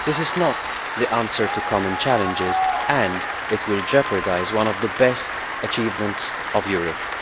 This is not the answer to common challenges, and it will jeopardise one of the best achievements of Europe.